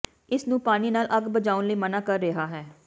ਇਸ ਨੂੰ ਪਾਣੀ ਨਾਲ ਅੱਗ ਬੁਝਾਉਣ ਲਈ ਮਨ੍ਹਾ ਕਰ ਰਿਹਾ ਹੈ